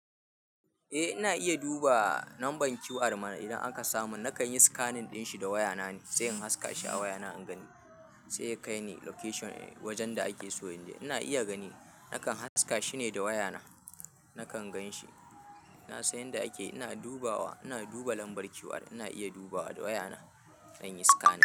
E ina iya duba namba QR ma idan akasa man nakan yi scanning din shi da waya na ne, sai in haska shi a waya na, in gani sai ya kai ni location wajen da ake so. Ina iya gani nakan haska shine da waya na, nakan gan shi. Na san yanda ake. Ina dubawa ina duba lambar QR ina iya dubawa da wayana zanyi scanning.